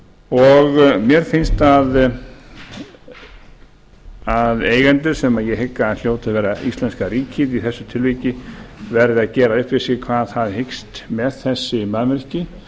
og mér finnst að eigendur sem hljóti að vera íslenska ríkið í þessu tilviki verði að gera upp við sig hvað það hyggst með þessi mannvirki